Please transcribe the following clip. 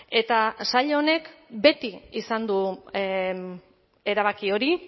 eta sail honek beti izan du erabaki hori